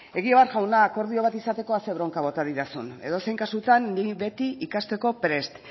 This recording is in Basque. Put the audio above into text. egibar jauna akordio bat izateko ah ze bronka bota didazun edozein kasutan ni beti ikasteko prest